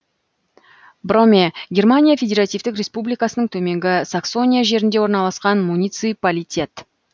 броме германия федеративтік республикасының төменгі саксония жерінде орналасқан муниципалитет